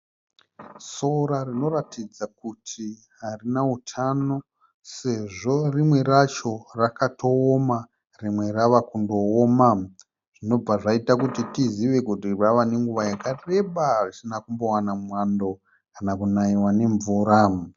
Sora rinoratidza kuti harina hutano sezvo rimwe racho rakatooma rimwe rava kundooma zvinobva zvaita kuti tizive kuti rava nenguva yakareba risina kumbowana mwando kana kunayiwa nemvura.